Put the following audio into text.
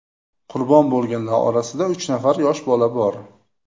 Qurbon bo‘lganlar orasida uch nafar yosh bola bor.